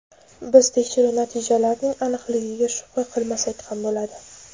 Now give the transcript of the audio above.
biz tekshiruv natijalarining aniqligiga shubha qilmasak ham bo‘ladi.